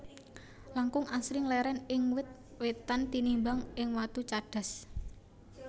Langkung Asring leren ing wit witan tinimbang ing watu cadas